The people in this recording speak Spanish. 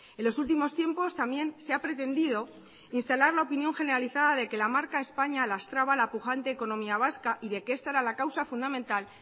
en los últimos tiempos también se ha pretendido instalar la opinión generalizada de que la marca españa lastraba la pujante economía vasca y de que esta era la causa fundamental